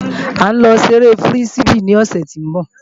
A ń lọ ṣeré fírísíbì ní òsè tí ń bọ̀